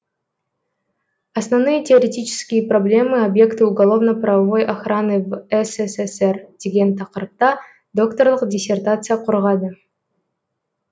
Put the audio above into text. основные теоретические проблемы объекта уголовно правовой охраны в ссср деген тақырыпта докторлық диссертация қорғады